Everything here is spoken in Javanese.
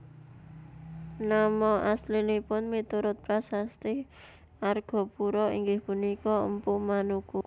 Nama aslinipun miturut prasasti Argapura inggih punika Mpu Manuku